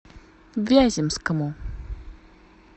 вяземскому